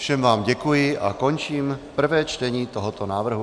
Všem vám děkuji a končím prvé čtení tohoto návrhu.